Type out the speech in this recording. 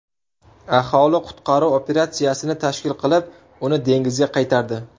Aholi qutqaruv operatsiyasini tashkil qilib, uni dengizga qaytardi .